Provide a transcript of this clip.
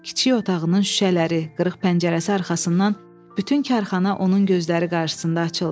Kiçik otağının şüşələri, qırıq pəncərəsi arxasından bütün karxana onun gözləri qarşısında açıldı.